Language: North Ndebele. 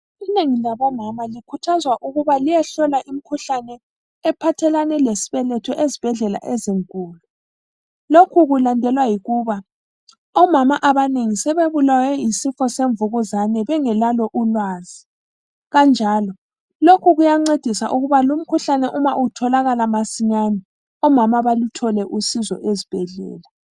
Inengi labomama likhuthazwa ukuba liyehlolwa imikhuhlane ephathelana lesibeletho ezibhedlela ezinkulu. Lokhu kulandelwa yikuba omama abanengi sebebulawe yisifo semvukuzane bengelalo ulwazi. Kanjalo, lokhu kuyancedisa ukuba lumkhuhlane uma utholakala masinyane, omama baluthole usizo ezibhedlela.